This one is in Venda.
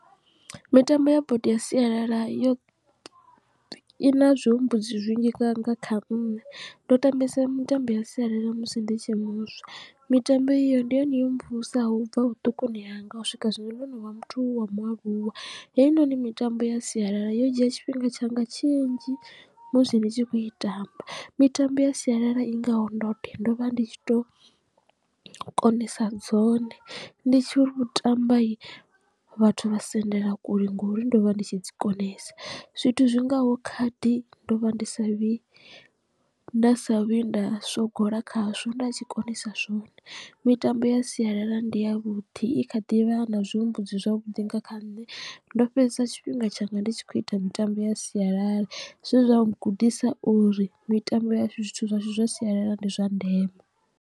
Mitambo ya bodo ya sialala yo i na zwihumbudzi zwinzhi nga nga kha nṋe ndo tambesa mitambo ya sialala musi ndi tshe muswa mitambo iyo ndi yone yo mvusaho ubva vhuṱukuni hanga u swika zwino ndono vha muthu wa mualuwa. Hei noni mitambo ya sialala yo dzhia tshifhinga tshanga tshinzhi musi ndi tshi khou i tamba mitambo ya sialala i ngaho ndoṱhe ndo vha ndi tshi to konesa dzone ndi tshiri u tamba vhathu vha sendela kule ngori ndo vha ndi tshi dzi konesa. Zwithu zwingaho khadi ndo vha ndi sa vhi nda sa vhuyi nda sogola khazwo nda tshi konesa zwone mitambo ya sialala ndi yavhuḓi i kha ḓivha na zwihumbudzi zwavhuḓi nga kha nṋe ndo fhedzesa tshifhinga tshanga ndi tshi khou ita mitambo ya sialala zwe zwa ngudisa uri mitambo ya zwithu zwashu zwa sialala ndi zwa ndeme.